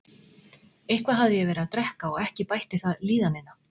Eitthvað hafði ég verið að drekka og ekki bætti það líðanina.